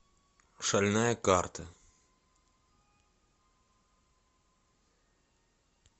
шальная карта